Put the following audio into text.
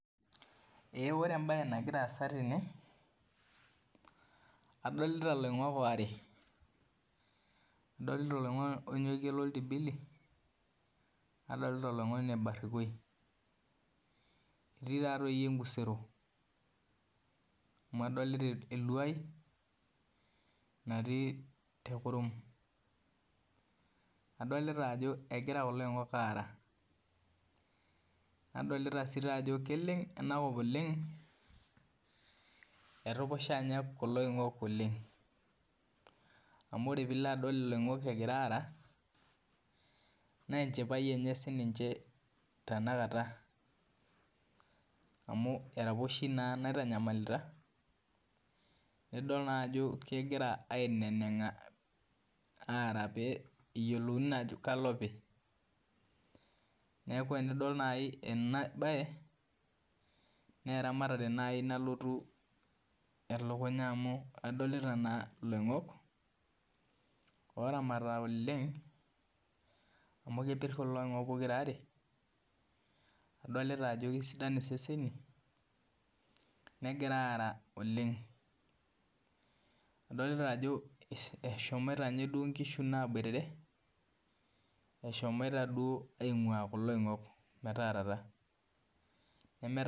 Ee ore embae nagira aasa tene adolita loingok aare adolta oloingoni loltibili nadolta oloingoni barikoi etii naa enkusero amu adolta eluai natii kurum adolta ajo egira kulo apingok aara nadolta ajo keleng enakop oleng etupusha nye kulo oongok oleng amu pilo adol loingok egira aara na enchipae enye tanakata amu eraposhi naitanyamalita nidol naa ajo kegira ainenenga peyiolouni naajo kalo opineaku enidol na enabae na eramatare mai nalotu elukunya amu kadolta na loingok oramata oleng amu kepir na kulo oingok pokira aare adolta ajo kesidan iseseni negira aara Oleng adolta ajo eshomoita duo nkishu naboitare aingua kulo oingok metaarata .